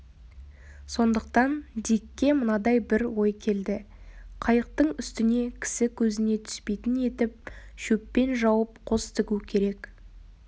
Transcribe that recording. сондықтан дикке мынадай бір ой келді қайықтың үстіне кісі көзіне түспейтін етіп шөппен жауып қос тігу керек